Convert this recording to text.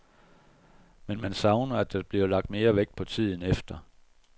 Men man savner, at der bliver lagt mere vægt på tiden efter.